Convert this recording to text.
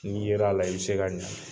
N'i yer'a la i be se ka ɲangi